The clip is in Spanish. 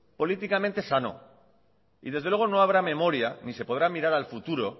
políticamente sano y desde luego no habrá memoria ni se podrá mirar al futuro